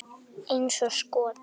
Eins og skot!